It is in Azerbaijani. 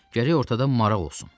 Gərək ortada maraq olsun.